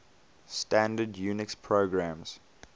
standard unix programs